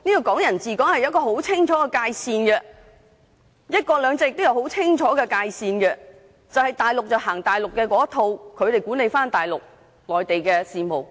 "港人治港"有很清楚的界線，"一國兩制"也有很清楚的界線，便是大陸奉行大陸的一套來管理大陸的事務。